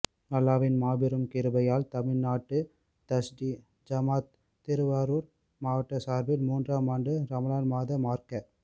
அல்லாஹ்வின் மாபெரும் கிருபையால் தமிழ்நாடு தவ்ஹீத் ஜமாஅத் திருவாரூர் மாவட்டம் சார்பாக மூன்றாம் ஆண்டு ரமளான் மாத மார்க்க